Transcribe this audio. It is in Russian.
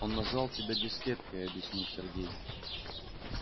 он назвал тебя дискеткой объяснил сергей